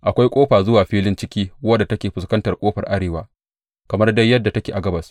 Akwai ƙofa zuwa filin ciki wadda take fuskantar ƙofar arewa, kamar dai yadda take a gabas.